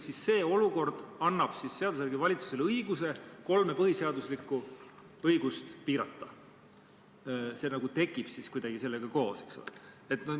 Samas see olukord annab seadusega valitsusele õiguse kolme põhiseaduslikku õigust piirata, see nagu tekib kuidagi sellega koos.